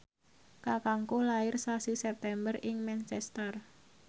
kakangku lair sasi September ing Manchester